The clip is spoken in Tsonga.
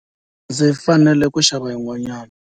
Ndzi fanele ku xava yin'wanyana.